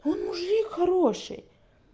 он мужик хороший